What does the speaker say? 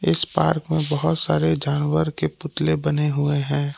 इस पार्क में बहुत सारे जानवर के पुतले बने हुए हैं।